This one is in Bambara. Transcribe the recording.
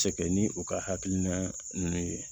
Cɛkɛ ni u ka hakilina ninnu ye